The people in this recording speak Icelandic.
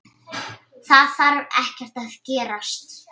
Það þarf ekkert að gerast.